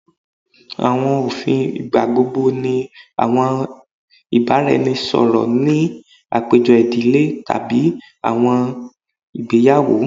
Awọn ofin igbagbogbo ni awọn ibaraẹnisọrọ ni apejọ idile tabi awọn igbeyawo